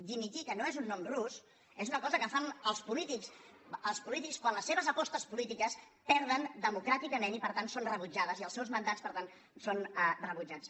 dimitir que no és un nom rus és una cosa que fan els polítics quan les seves apostes polítiques perden democràticament i per tant són rebutjades i els seus mandats per tant són rebutjats